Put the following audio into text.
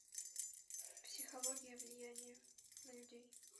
психология влияния на людей